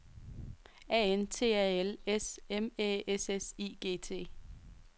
A N T A L S M Æ S S I G T